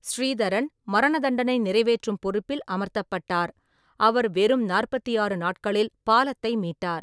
ஸ்ரீதரன் மரணதண்டனை நிறைவேற்றும் பொறுப்பில் அமர்த்தப்பட்டார், அவர் வெறும் நாற்பத்தி ஆறு நாட்களில் பாலத்தை மீட்டார்.